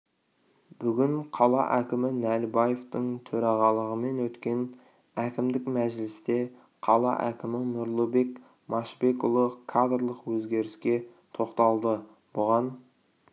бүгін қала әкімі нәлібаевтың төрағалығымен өткен әкімдік мәжілісте қала әкімі нұрлыбек машбекұлы кадрлық өзгеріске тоқталды бұған